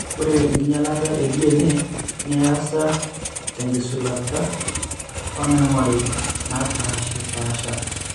Ore enkinyialata eDNA neasa tenkitushulata oonaing'ori naapaashipaasha.